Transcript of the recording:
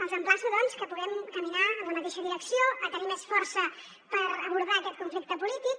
els emplaço doncs que puguem caminar en la mateixa direcció a tenir més força per abordar aquest conflicte polític